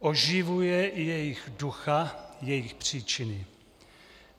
Oživuje i jejich ducha, jejich příčiny.